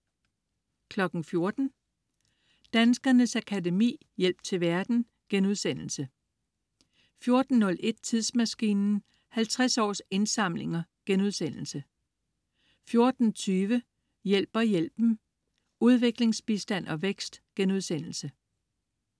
14.00 Danskernes Akademi: Hjælp til verden* 14.01 Tidsmaskinen: 50 års indsamlinger* 14.20 Hjælper hjælpen? Udviklingsbistand og vækst*